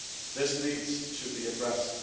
This needs to be addressed.